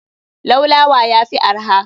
Laulawa yafi arha.